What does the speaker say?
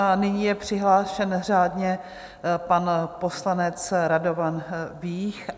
A nyní je přihlášen řádně pan poslanec Radovan Vích.